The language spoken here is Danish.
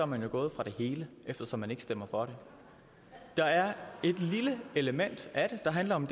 man gået fra det hele eftersom man ikke stemmer for det der er et lille element af det der handler om